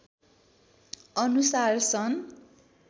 अनुसार सन्